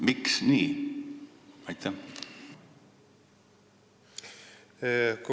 Miks nii?